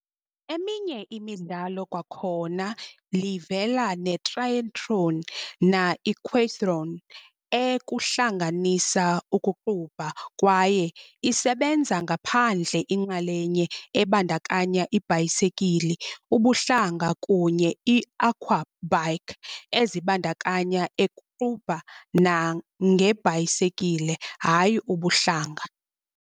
Eminye imidlalo kwakhona livela netrayethloni na-Aquathlon, okuhlanganisa ukuqubha kwaye isebenza ngaphandle inxalenye ebandakanya ibhayisikile ubuhlanga kunye i-aquabike, ezibandakanya ukuqubha nangebhayisekile, hayi ubuhlanga.